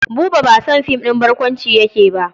Buba ba son film ɗin barkwanci yake ba.